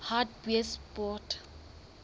hartbeespoort